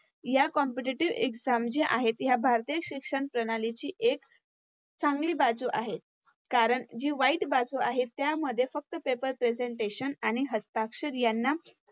या Competitive exam जी आहेत या भारतीय शिक्षणप्रणालीची एक चांगली बाजू आहे. कारण जी वाईट बाजू आहे त्यामध्ये फक्त Paper presentation आणि हस्ताक्षर यांना